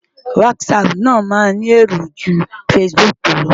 Whatsapp náà máa tó ni èrò ju Facebook lọ.